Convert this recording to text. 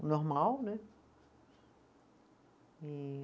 Normal, né? E